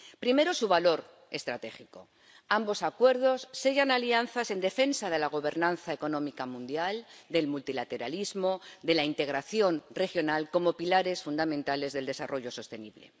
Primero su valor estratégico ambos Acuerdos sellan alianzas en defensa de la gobernanza económica mundial, del multilateralismo, de la integración regional como pilares fundamentales del desarrollo sostenible.